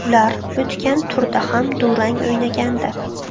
Ular o‘tgan turda ham durang o‘ynagandi.